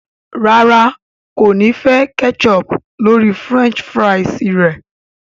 ràrá kò ní fè ketchup lórí french fries re.